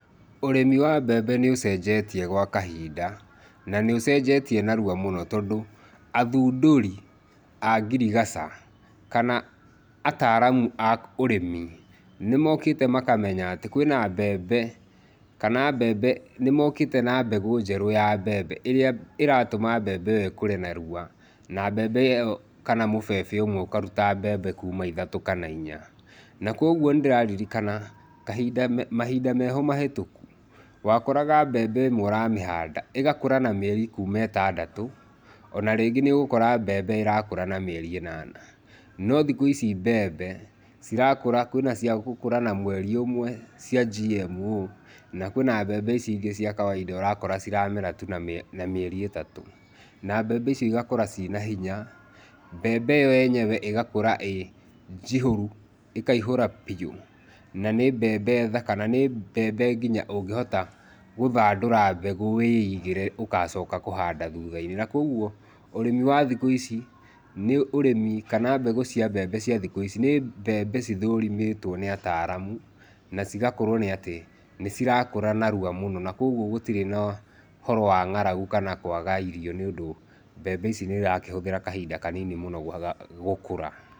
Ũrĩmi wa mbembe nĩũcenjetie gwa kahinda na nĩũcenjetie narua mũno tondũ athundũri a ngirigaca kana ataramu a ũrĩmi nĩmokĩte makamenya atĩ kwĩna mbembe kana nĩmokĩte na mbegũ njerũ ya mbembe ĩrĩa ĩratũma mbembe ĩo ĩkũre na ihenya na mbembe ĩo kana mũbebe ũcio ũkaruta mbembe ithatũ kana inya na kũoguo nĩndĩrarikana mahinda meho mahetũku wakoraga mbembe ĩmwe ũramĩhanda ĩgakũra na kuma mĩeri ĩtandatũ, ona rĩngĩ nĩ ũrakora mbembe ĩrakũra na mĩeri ĩnana, no thikũ ici mbembe cirakũra, kwĩna ciagũkũra na mweri ũmwe cia GMO na kwĩna mbembe ici ingĩ cia kawainda ũrakora ciramera tu na mĩeri ĩtatũ na mbembe ici igakũra ciĩna hinya. Mbembe ĩyo yenyewe ĩgakũra ĩnjihũru, ĩkaihũra biũ, na nĩ mbembe thaka na nĩ mbembe nginya ũngĩhota gũthandũra mbegũ wĩigĩre ũgacoka kũhanda thutha-inĩ na kũoguo ũrĩmi wa thikũ ici kana mbegũ cia mbembe cia thikũ ici nĩ mbembe cithũrimĩtwo nĩ ataramu na cigakorwo nĩ atĩ nĩ cirakũra narua mũno na kũoguo gũtirĩ na ũhoro wa ng'aragu kana kwaga irio nĩ ũndũ mbembe ici nĩ irahũthĩra kahinda kanini mũno gũkũra.